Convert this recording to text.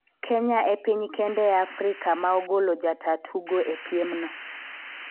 Kenya e piny kende e Afrika ma ogolo jataa tugo e piem no